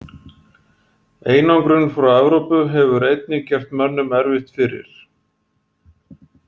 Einangrun frá Evrópu hefur einnig gert mönnum erfitt fyrir.